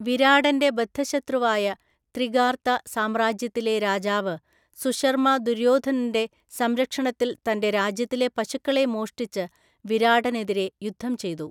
വിരാടൻ്റെ ബദ്ധശത്രുവായ ത്രിഗാർത സാമ്രാജ്യത്തിലെ രാജാവ് സുശർമ്മ ദുര്യോധനൻ്റെ സംരക്ഷണത്തിൽ തൻ്റെ രാജ്യത്തിലെ പശുക്കളെ മോഷ്ടിച്ച് വിരാടനെതിരെ യുദ്ധം ചെയ്തു.